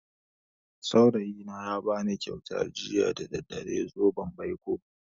Saurayina ya bani kyauta jiya da daddare, zoben baiko.